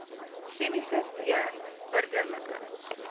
chemiese d burgerlike